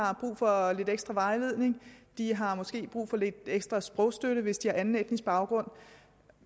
har brug for lidt ekstra vejledning de har måske brug for lidt ekstra sprogstøtte hvis de har anden etnisk baggrund